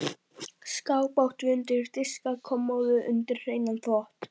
Skáp áttum við undir diska og kommóðu undir hreinan þvott.